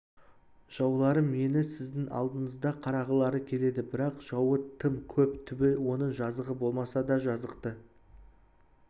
жауларым мені сіздің алдыңызда қаралағылары келеді бірақ жауы тым көп түбі оның жазығы болмаса да жазықты